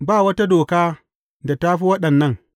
Ba wata doka da ta fi waɗannan.